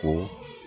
Ko